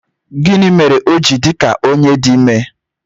Gịnị mere o ji dị ka onye di ime?